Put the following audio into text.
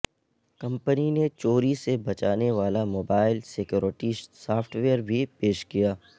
company نے چوری سے بچانے والا موبائل سیکورٹی سافٹ ویئر بھی پیش کیا